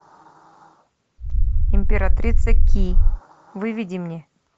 императрица ки выведи мне